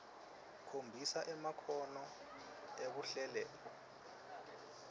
khombisa emakhono ekuhlelela